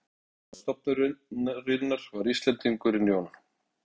Fyrsti forstöðumaður stofnunarinnar var Íslendingurinn Jón